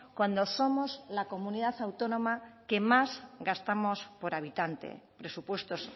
cuando somos la comunidad autónoma que más gastamos por habitante presupuestos